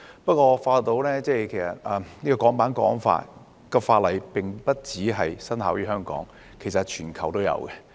不過，我發覺《香港國安法》並不僅在香港生效，其實全球亦然。